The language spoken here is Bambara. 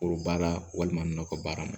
Foro baara walima nakɔ baara ma